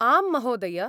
आम् महोदय।